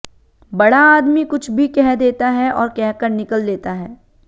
बड़ा आदमी कुछ भी कह देता है और कहकर निकल लेता है